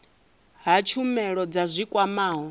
ha tshumelo dza zwi kwamaho